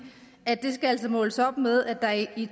at det altså skal måles op mod at der i